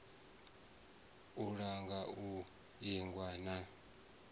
u langa u ingwa na